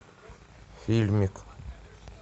фильмик